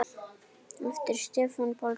eftir Stefán Pálsson